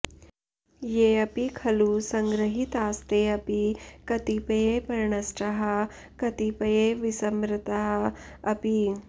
येऽपि खलु सङ्गृहीतास्तेऽपि कतिपये प्रणष्टाः कतिपये विस्मृता अपि